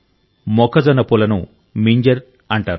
మొక్కజొన్న పూలను మింజర్ అంటారు